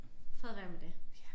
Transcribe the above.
Fred være med det